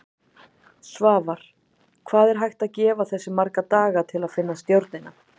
Svavar: Hvað er hægt að gefa þessu marga daga til að finna stjórnina?